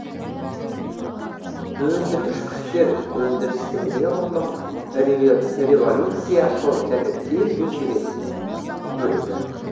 өндіргіш күштер өндірістің неғұрлым революцияшыл және тез өзгеретін бөлігі